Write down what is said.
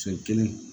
Cɛ kelen